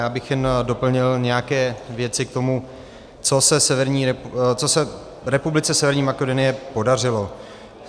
Já bych jen doplnil nějaké věci k tomu, co se Republice Severní Makedonie podařilo.